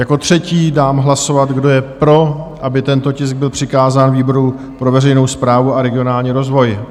Jako třetí dám hlasovat kdo je pro, aby tento tisk byl přikázán výboru pro veřejnou správu a regionální rozvoj?